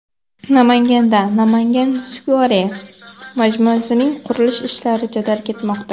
Namanganda Namangan Square majmuasining qurilish ishlari jadal ketmoqda.